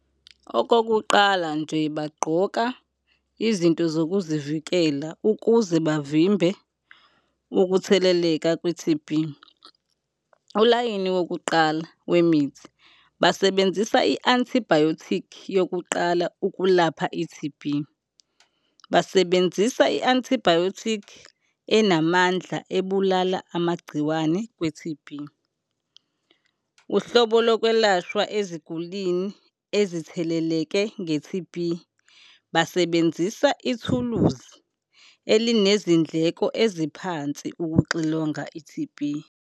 Okokuqala nje, bagqoka izinto zokuzivikela ukuze bavimbe ukutheleleka kwe-T_B. Ulayini wokuqala wemithi, basebenzisa i-antibiotic yokuqala ukulapha i-T_B, basebenzisa i-antibiotic enamandla ebulala amagciwane kwe-T_B. Uhlobo lokwelashwa ezigulini ezitheleleke nge-T_B, basebenzisa ithuluzi elinezindleko eziphansi ukuxilonga i-T_B.